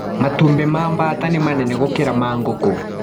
Matumbĩ ma mbata nĩ manene gũkĩra ma ngũkũ.